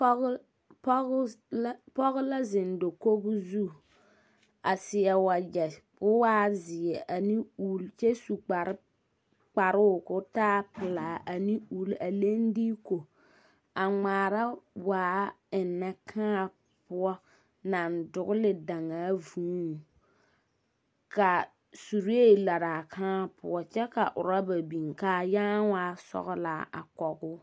Pɔg o pɔg la pɔge la zeŋ dakog zu, a seɛ wagyɛ ko waa zeɛ ane ull kyɛ su kpar kparoo ko taa pelaa ane ull a leŋ diiku a ŋmaara waa ennɛ kãã poɔ naŋ dogele daŋaa vuuŋ, ka suree laraa kãã poɔ kyɛ ka oraba biŋ kaa yãã waa sɔgelaa a kɔgoo.